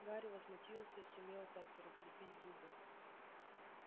гарри возмутился и сумел-таки разлепить зубы